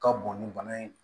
Ka bon ni bana ye